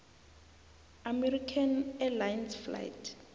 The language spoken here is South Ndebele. american airlines flight